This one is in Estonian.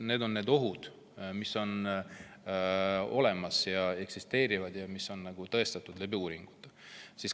Need on need ohud, mis on olemas, mis eksisteerivad ja mis on uuringutes tõestatud.